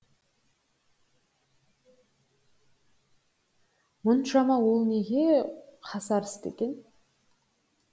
мұншама ол неге қасарысты екен